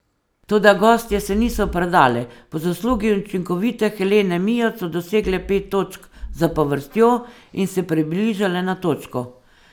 Toda gostje se niso predale, po zaslugi učinkovite Helene Mijoč so dosegle pet točk zapovrstjo in se približale na točko.